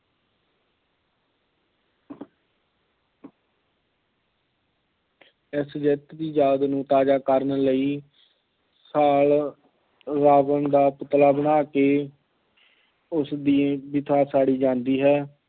ਇਸ ਜਿੱਤ ਦੀ ਯਾਦ ਨੂੰ ਤਾਜ਼ਾ ਕਰਨ ਲਈ ਸਾਲ ਰਾਵਣ ਦਾ ਪੁਤਲਾ ਬਣਾ ਕੇ ਉਸਦੀ ਚਿਤਾ ਸਾੜੀ ਜਾਂਦੀ ਹੈ।